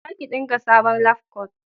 za ki dinka sabon labkwat!